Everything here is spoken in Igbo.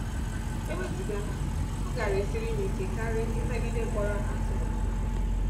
Ewezụga ha, ọ gaara esiri m ike karị ịnagide mkpọrọ ahụ a tụrụ m.